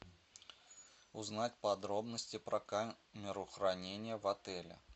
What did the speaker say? узнать подробности про камеру хранения в отеле